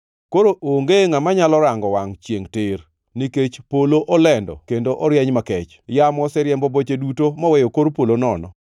Koro onge ngʼama nyalo rango wangʼ chiengʼ tir, nikech polo olendo kendo orieny makech; yamo oseriembo boche duto moweyo kor polo nono.